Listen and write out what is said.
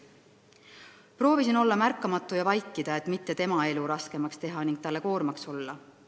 Proovisin olla märkamatu ja vaikida, et mitte tema elu raskemaks teha ning talle koormaks olla.